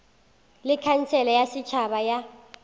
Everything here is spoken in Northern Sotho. le khansele ya setšhaba ya